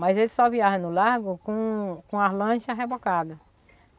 Mas ele só viaja no largo com com as lanchas rebocadas.